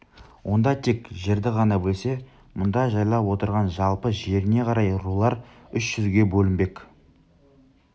онда тек жерді ғана бөлсе мұнда жайлап отырған жалпы жеріне қарай рулар үш жүзге бөлінбек